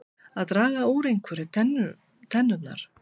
Að draga úr einhverju tennurnar